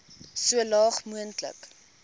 so laag moontlik